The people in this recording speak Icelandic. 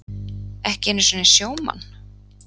Ekki einu sinni sjómann?